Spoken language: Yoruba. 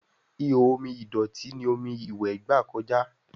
Ihò omi ìdọ̀tí ní omí iwe gba kọjá